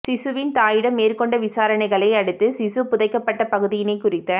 சிசுவின் தாயிடம் மேற்கொண்ட விசாரனைகளை அடுத்து சிசு புதைக்கப்பட்ட பகுதியினை குறித்த